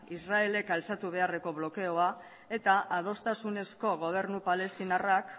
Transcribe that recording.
israelek altxatu beharreko blokeoa eta adostasunezko gobernu palestinarrak